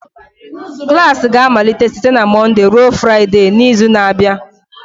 Klas ga-amalite site na Mọnde ruo Fraịde n'izu na-abịa